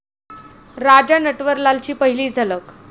राजा नटवरलाल'ची पहिली झलक